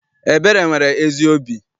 Ebere nwere ezi obi.